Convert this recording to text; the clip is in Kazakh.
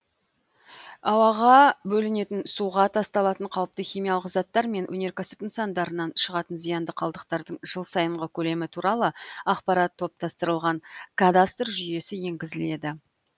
ауаға бөлінетін суға тасталатын қауіпті химиялық заттар мен өнеркәсіп нысандарынан шығатын зиянды қалдықтардың жыл сайынғы көлемі туралы ақпарат топтастырылған кадастр жүйесі енгізіледі